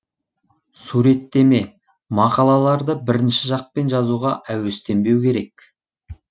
суреттеме мақалаларды бірінші жақпен жазуға әуестенбеу керек